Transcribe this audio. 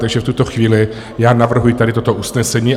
Takže v tuto chvíli já navrhuji tady toto usnesení.